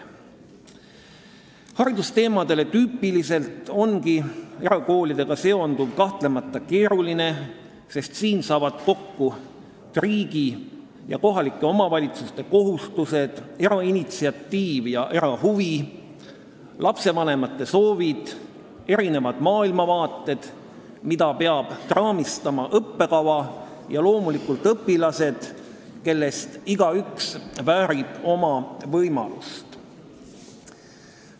Haridusteemadele tüüpiliselt on erakoolidega seonduv kahtlemata keeruline, sest siin saavad kokku riigi ja kohaliku omavalitsuse kohustused, erainitsiatiiv ja erahuvi, lastevanemate soovid, erinevad maailmavaated, mida peab raamistama õppekava, ja loomulikult õpilased, kellest igaüks väärib oma võimalust.